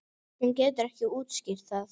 Hún getur ekki útskýrt það.